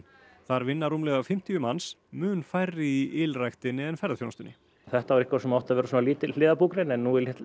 þar vinna rúmlega fimmtíu manns mun færri í ylræktinni en ferðaþjónustunni þetta var eitthvað sem átti að verða lítil hliðarbúgrein en nú er